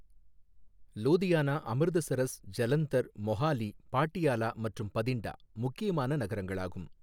லூதியானா, அமிர்தசரஸ், ஜலந்தர், மொஹாலி, பாட்டியாலா மற்றும் பதிண்டா முக்கியமான நகரங்களாகும்.